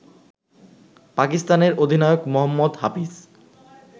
পাকিস্তানের অধিনায়ক মোহাম্মদ হাফিজ